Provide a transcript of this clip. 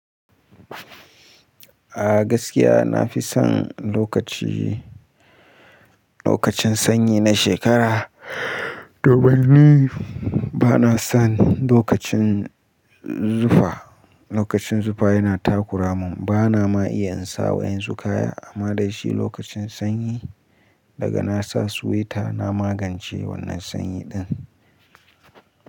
A gaskiya na fi son lokaci, lokacin sanyi na shekara. Domin ni ba na son lokacin zufa. Lokacin zufa yana takura mun, ba na ma iya in sa wa'ƴansu kaya. Amma dai shi lokacin sanyi daga nasa suwaita na magance wannan sanyi ɗun.